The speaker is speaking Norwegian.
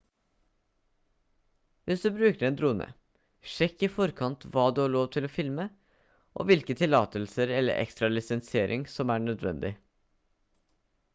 hvis du bruker en drone sjekk i forkant hva du får lov til å filme og hvilke tillatelser eller ekstra lisensiering som er nødvendig